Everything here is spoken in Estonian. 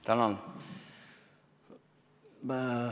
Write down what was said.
Tänan!